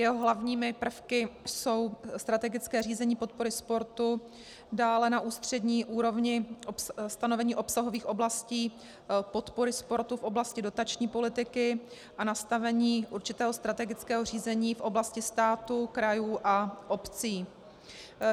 Jeho hlavními prvky jsou strategické řízení podpory sportu, dále na ústřední úrovni stanovení obsahových oblastí podpory sporty v oblasti dotační politiky a nastavení určitého strategického řízení v oblasti státu, krajů a obcí.